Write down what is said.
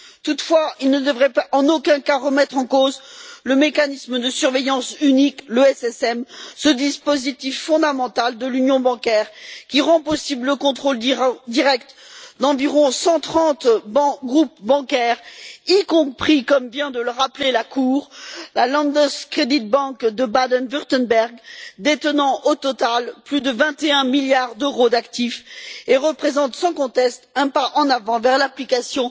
Toutefois, ils ne devraient en aucun cas remettre en cause le mécanisme de surveillance unique, le MSU, ce dispositif fondamental de l'union bancaire qui rend possible le contrôle direct d'environ 130 groupes bancaires y compris comme vient de le rappeler la Cour à propos de la Landeskreditbank de Bade Wurtemberg détenant au total plus de 21000 milliards d'euros d'actifs, et représente sans conteste un pas en avant vers l'application